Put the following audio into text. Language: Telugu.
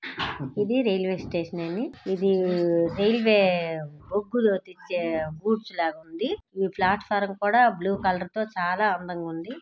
ఇది రైల్వే స్టేషన్ అండీ ఇది రైల్వే బొగ్గులు దించే గూడ్స్ లాగుంది ఈ ప్లాట్ఫారం కూడా బ్లూ కలర్తో చాలా అందంగా ఉంది.